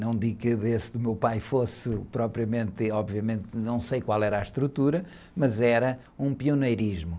Não digo que desse do meu pai fosse propriamente, obviamente, não sei qual era a estrutura, mas era um pioneirismo.